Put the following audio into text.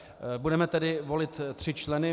Budeme tedy volit tři členy.